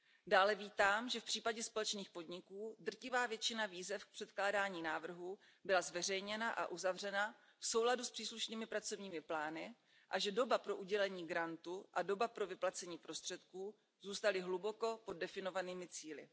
Dále vítám, že v případě společných podniků drtivá většina výzev k předkládání návrhů byla zveřejněna a uzavřena v souladu s příslušnými pracovními plány a že doba pro udělení grantu a doba pro vyplacení prostředků zůstaly hluboko pod definovanými cíli.